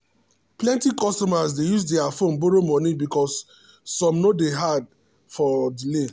plenty customers dey use their phone borrow moni because some no day hard or delay.